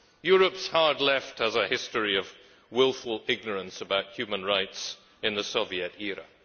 Europe's hard Left has a history of wilful ignorance about human rights in the Soviet era.